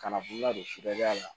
Kana bololadofɛriya la